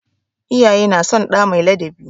Iyaye na son ɗa mai ladabi.